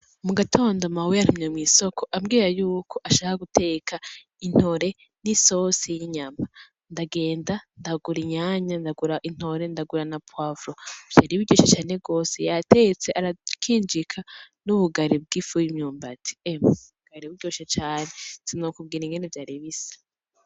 Mu gatondo mawe yantumye mw'isoko ambwira yuko ashaka guteka intore n'isosi y'inyama. Ndagenda ndagura inyanya, ndagura intore, ndagura na poivron. Vyari biryoshe cane gose, yateze arakinjika n'ubugari bw'ifu y'imyumbati. Emye, bwari buryoshe cane sinokubwira ingene vyari bisa.